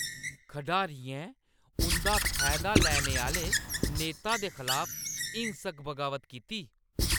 खढारियें उंʼदा फायदा लैने आह्‌ले नेता दे खलाफ हिंसक बगावत कीती।